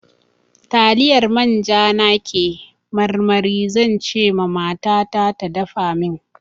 Taliyar manja na ke marmari, zan ce ma mata ta da dafa min.